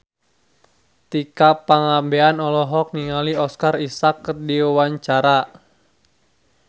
Tika Pangabean olohok ningali Oscar Isaac keur diwawancara